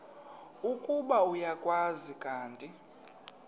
ukuba uyakwazi kanti